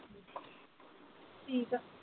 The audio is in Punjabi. ਠੀਕ ਆ।